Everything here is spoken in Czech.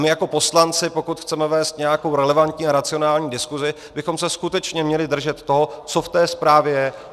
My jako poslanci, pokud chceme vést nějakou relevantní a racionální diskuzi, bychom se skutečně měli držet toho, co v té zprávě je.